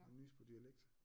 Nyse på dialekt